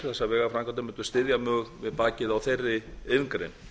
þessar vegaframkvæmdir mundu styðja mjög við bakið á þeirri iðngrein